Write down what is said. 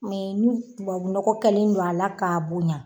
Mɛ n'u tubabu nɔgɔ kɛlen don a la k'a bonya